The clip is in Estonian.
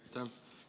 Aitäh!